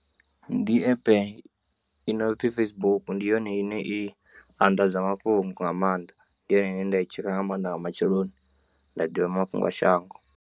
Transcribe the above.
Ndi app inopfi Facebook ndi yone ine i anḓadza mafhungo nga maanḓa ndi yone ine nda i tsheka nga maanḓa nga matsheloni nda ḓivha mafhungo a shango.